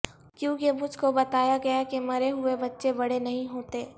کیونکہ مجھ کو بتایا گیا کہ مرے ہوئے بچے بڑے نہیں ہوتے